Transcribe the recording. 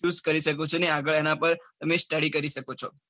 Choose કરી શકો છો અને આગળ એના પાર study કરી શકો છો.